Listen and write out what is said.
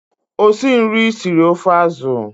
Osinri siri ofe azụ.